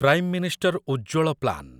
Prime minister Ujjwal plan